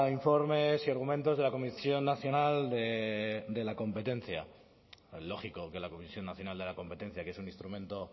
informes y argumentos de la comisión nacional de la competencia lógico que la comisión nacional de la competencia que es un instrumento